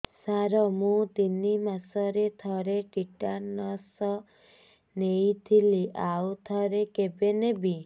ସାର ମୁଁ ତିନି ମାସରେ ଥରେ ଟିଟାନସ ନେଇଥିଲି ଆଉ ଥରେ କେବେ ନେବି